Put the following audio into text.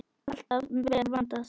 Alltaf vel vandað.